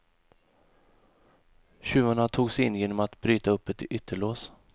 Tjuvarna tog sig in genom att bryta upp ett ytterlås.